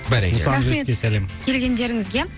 бәрекелді рахмет келгендеріңізге